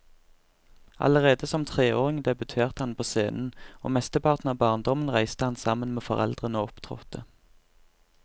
Allerede som treåring debuterte han på scenen, og mesteparten av barndommen reiste han sammen med foreldrene og opptrådte.